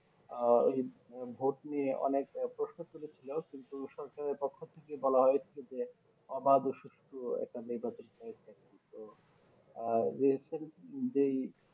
আহ এই ভোট নিয়ে অনেক প্রশ্ন তুলেছিল কিন্তু সরকারের পক্ষ থেকে কিন্তু বলা হয়েছিল যে আবাদ সুস্থ একটা নির্বাচন হয়েছে কিন্তু আহ Recent যে এই